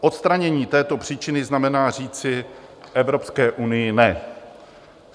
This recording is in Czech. Odstranění této příčiny znamená říci Evropské unii ne.